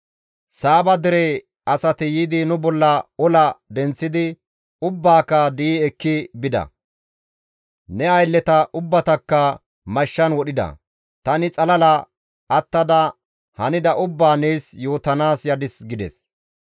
Saaba dere asati yiidi nu bolla ola denththidi ubbaaka di7i ekki bida; ne aylleta ubbatakka mashshan wodhida; tani xalala attada hanida ubbaa nees yootanaas yadis» gides.